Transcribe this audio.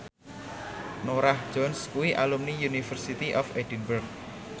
Norah Jones kuwi alumni University of Edinburgh